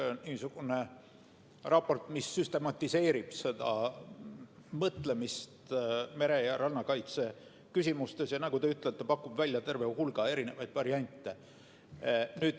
See on niisugune raport, mis süstematiseerib mõtlemist mere- ja rannakaitseküsimustes ja nagu te ütlete, pakub välja terve hulga erinevaid variante.